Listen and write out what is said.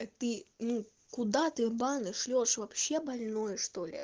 ты ну куда ты в баны шлёшь вообще больной что ли